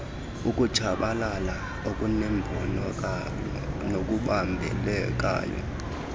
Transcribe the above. ukutshabalala okunembonakalo nokubambekayo